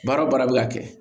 Baara o baara bɛ ka kɛ